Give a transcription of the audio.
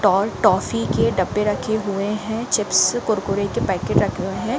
Toll toffee के डब्बे रखे हुए है। चिप्स कुरकुरे के पैकेट रखे हुए है।